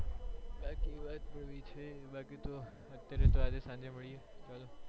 બાકી તો અત્યારે આજે સાંજે માળીયે